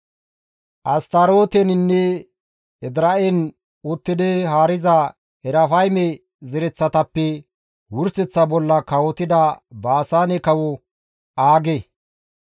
Astarooteninne Edira7en uttidi haariza Erafayme zereththatappe wurseththa bolla kawotidayta Baasaane kawo Aage.